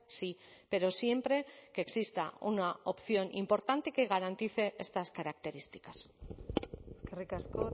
sí pero siempre que exista una opción importante que garantice estas características eskerrik asko